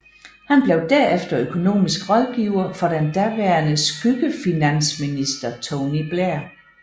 Han blev derefter økonomisk rådgiver for den daværende skyggefinansminister Tony Blair